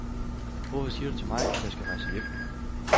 Hvorfor siger du til mig, at jeg skal rejse hjem.